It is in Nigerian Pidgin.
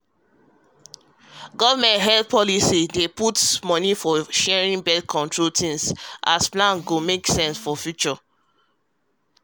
government health policy dey put money for sharing birth-control things as plan wey go make sense for future future um